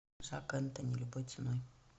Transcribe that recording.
жак энтони любой ценой